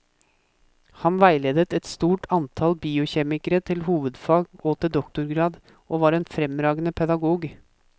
Han veiledet et stort antall biokjemikere til hovedfag og til doktorgrad, og var en fremragende pedagog.